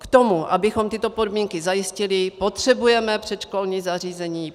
K tomu, abychom tyto podmínky zajistili, potřebujeme předškolní zařízení.